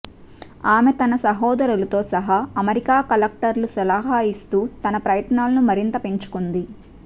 ఆమె తన సహోదరులతో సహా అమెరికా కలెక్టర్లు సలహా ఇస్తూ తన ప్రయత్నాలను మరింత పెంచుకుంది